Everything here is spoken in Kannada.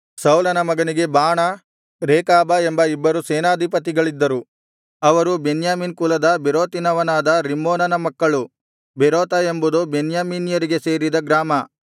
ಸೌಲನ ಮಗನಿಗೆ ಬಾಣ ರೇಕಾಬ ಎಂಬ ಇಬ್ಬರು ಸೇನಾಧಿಪತಿಗಳಿದ್ದರು ಅವರು ಬೆನ್ಯಾಮೀನ್ ಕುಲದ ಬೇರೋತಿನವನಾದ ರಿಮ್ಮೋನನ ಮಕ್ಕಳು ಬೇರೋತ ಎಂಬುದು ಬೆನ್ಯಾಮೀನ್ಯರಿಗೆ ಸೇರಿದ ಗ್ರಾಮ